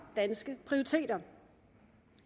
danske prioriteter